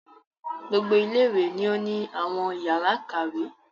Gbogbo ilé ìwé ni o ni àwọn yàrá ìkàwé.